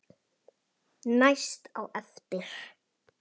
Næst á eftir